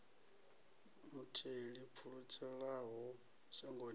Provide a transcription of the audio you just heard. mutheli o pfulutshelaho shangoni ḽa